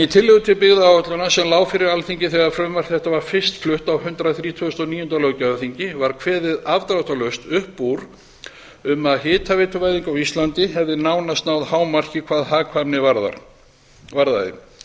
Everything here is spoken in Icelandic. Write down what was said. í tillögu til byggðaáætlunar sem lá fyrir alþingi þegar frumvarp þetta var fyrst flutt á hundrað þrítugasta og níunda löggjafarþingi var kveðið afdráttarlaust upp úr um að hitaveituvæðing á íslandi hefði nánast náð hámarki hvað hagkvæmni varðaði þess